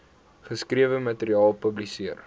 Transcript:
geskrewe materiaal publiseer